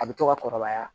A bɛ to ka kɔrɔbaya